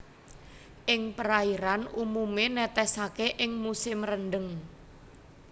Ing perairan umumé netesaké ing musim rendheng